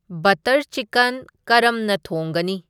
butter chicken ꯀꯔꯝꯅ ꯊꯣꯡꯒꯅꯤ